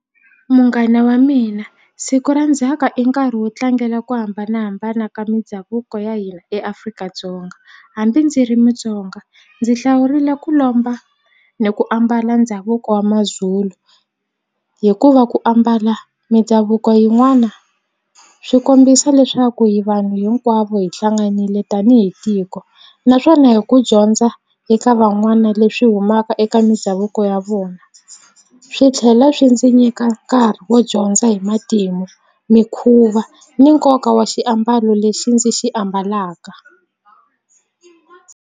Munghana wa mina siku ra ndzhaka i nkarhi wo tlangela ku hambanahambana ka mindhavuko ya hina eAfrika-Dzonga hambi ndzi ri Mutsonga ndzi hlawurile ku lomba ni ku ambala ndhavuko wa Mazulu hikuva ku ambala mindhavuko yin'wana swi kombisa leswaku hi vanhu hinkwavo hi hlanganile tanihi tiko naswona hi ku dyondza eka van'wana leswi humaka eka ka mindhavuko ya vona swi tlhela swi ndzi nyika nkarhi wo dyondza hi matimu mikhuva ni nkoka wa xiambalo lexi ndzi xi ambalaka.